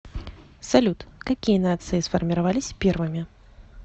салют какие нации сформировались первыми